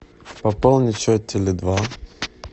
пополнить счет теле два